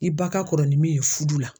I ba ka kɔrɔ ni min ye furu la